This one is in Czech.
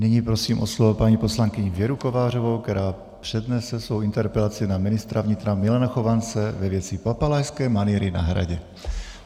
Nyní prosím o slovo paní poslankyni Věru Kovářovou, která přednese svou interpelaci na ministra vnitra Milana Chovance ve věci papalášské manýry na Hradě.